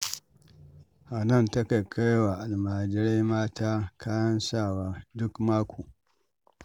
Hanan takan kai wa almajirai mata kayan sawa duk mako